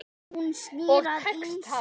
Og tekst það.